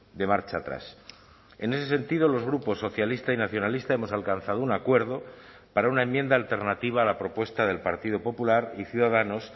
de marcha atrás en ese sentido los grupos socialista y nacionalista hemos alcanzado un acuerdo para una enmienda alternativa a la propuesta del partido popular y ciudadanos